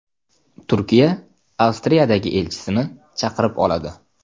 Turkiya Avstriyadagi elchisini chaqirib oladi.